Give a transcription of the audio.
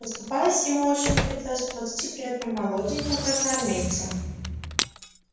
оступаясь ему очень не хотелось ползти при этом молоденьком красноармейце